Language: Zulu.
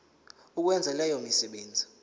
ukwenza leyo misebenzi